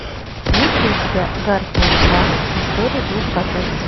есть ли у тебя гарфилд два история двух котов